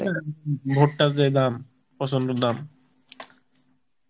হ্যাঁ ভুট্টার যে দাম প্রচন্ড দাম